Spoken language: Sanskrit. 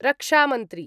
रक्षामन्त्री